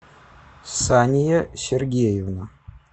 сания сергеевна